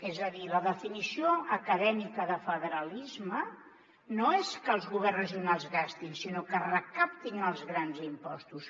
és a dir la definició acadèmica de federalisme no és que els governs regio·nals gastin sinó que recaptin els grans impostos